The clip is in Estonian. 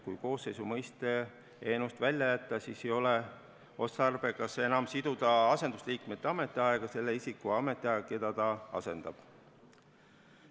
Kui koosseisu mõiste eelnõust välja jätta, siis ei ole enam otstarbekas siduda asendusliikme ametiaega selle isiku ametiajaga, keda ta asendab.